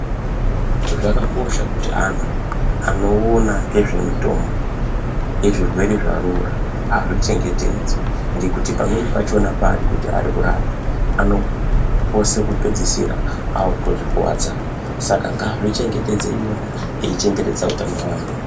Kwakakosha kuti antu anowona ngezvemitombo yezvirwere zvarura azvichengetedze ,ngekuti pamweni pachona pa arikuti arikurapa anopose kupedzisira akutozvikuwadzawo. Saka ngazvichengetedze eyiwona eyichengetedza hutano wawo.